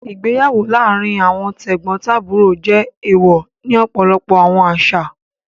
Igbeyawo laarin awọn tegbontaburo jẹ ééwọ́ ni ọpọlọpọ awọn aṣa.